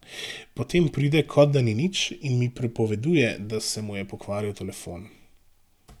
Potem pride, kot da ni nič, in mi pripoveduje, da se mu je pokvaril telefon.